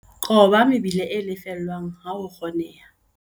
Qoba mebila e lefellwang ha ho kgoneha.